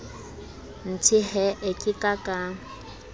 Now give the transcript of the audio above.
nthe hee ka ka ka